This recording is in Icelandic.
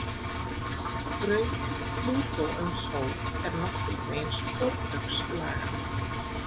Braut Plútó um sól er nokkurn veginn sporbaugslaga.